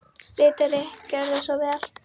Ritari Gjörðu svo vel.